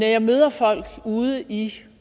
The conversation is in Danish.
jeg møder folk ude i